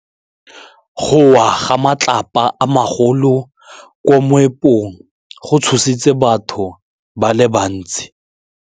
Go wa ga matlapa a magolo ko moepong go tshositse batho ba le bantsi.